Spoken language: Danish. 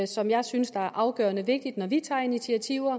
som jeg synes er afgørende vigtigt når vi tager initiativer